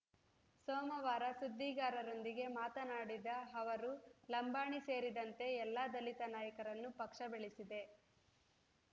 ಸೋಮವಾರ ಸುದ್ದಿಗಾರರೊಂದಿಗೆ ಮಾತನಾಡಿದ ಅವರು ಲಂಬಾಣಿ ಸೇರಿದಂತೆ ಎಲ್ಲ ದಲಿತ ನಾಯಕರನ್ನು ಪಕ್ಷ ಬೆಳೆಸಿದೆ